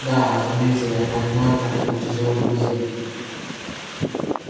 да разумеется я понимаю как это тяжело друзья